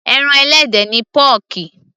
ẹran ẹlẹ́dẹ̀ ni pọ́ọ̀kì